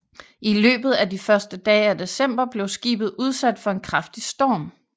I løbet af de første dage af december blev skibet udsat for en kraftig storm